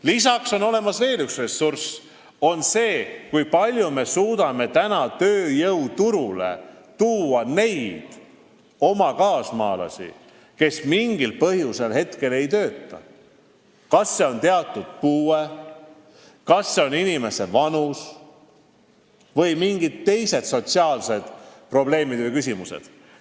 Lisaks on olemas veel üks ressurss: kui palju me suudame tööjõuturule tuua neid oma kaasmaalasi, kes mingil põhjusel ei tööta, kas põhjuseks on teatud puue, vanus või mingid teised sotsiaalsed probleemid ja küsimused.